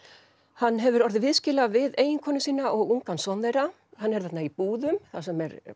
hann hefur orðið viðskila við eiginkonu sína og ungan son hann er þarna í búðum þar sem er